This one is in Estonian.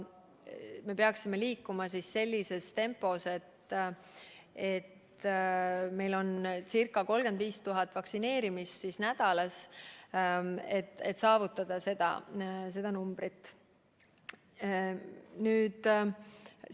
Me peaksime liikuma sellises tempos, et meil on circa 35 000 vaktsineerimist nädalas, et lõpuks see number saavutada.